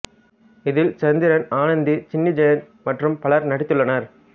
இதில் சந்திரன் ஆனந்தி சின்னி ஜெயந்த் மற்றும் பலர் நடித்துள்ளனர்